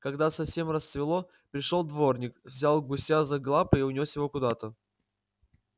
когда совсем рассвело пришёл дворник взял гуся за лапы и унёс его куда-то